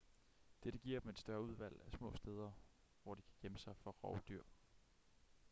dette giver dem et større udvalg af små steder hvor de kan gemme sig for rovdyr